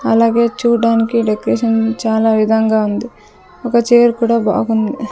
అలాగే చూడ్డానికి డెక్రేషన్ చాలావిధంగా ఉంది ఒక చేర్ కూడా బాగుంది.